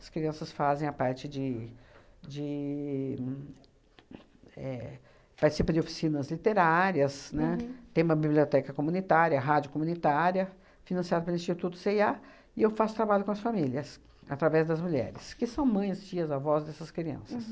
As crianças fazem a parte de de éh... participam de oficinas literárias, né, tem uma biblioteca comunitária, rádio comunitária, financiada pelo Instituto cê e a, e eu faço trabalho com as famílias, através das mulheres, que são mães, tias, avós dessas crianças.